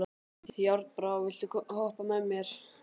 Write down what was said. Járnbrá, viltu hoppa með mér?